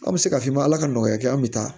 An bɛ se ka f'i ma ala ka nɔgɔya kɛ an bɛ taa